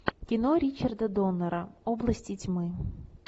кино ричарда доннера области тьмы